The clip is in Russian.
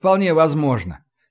вполне возможно